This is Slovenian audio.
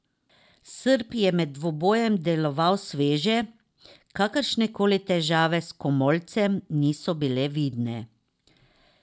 Srb je med dvobojem deloval sveže, kakršne koli težave s komolcem niso bile vidne.